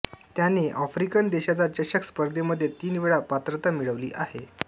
त्याने आफ्रिकन देशांचा चषक स्पर्धेमध्ये तीन वेळा पात्रता मिळवली आहे